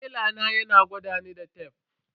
Tela na yana gwadani da tef.